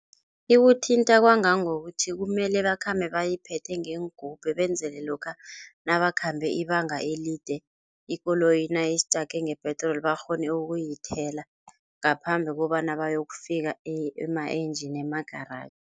Ikuthinta kwangangokuthi kumele bakhambe bayiphethe ngeengubhe, benzele lokha nabakhambe ibanga elide ikoloyi nayistake ngepetroli bakghone ukuyithela ngaphambi kobana bayokufika ema-engine, emagaraji.